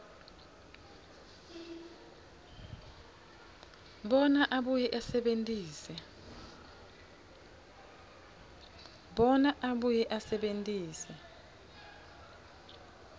bona abuye asebentise